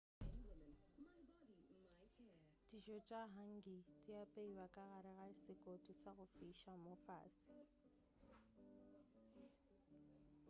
dijo tša hangi di apeiwa ka gare ga sekoti sa go fiša mo fase